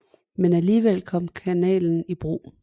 Men alligevel kom kanalen i brug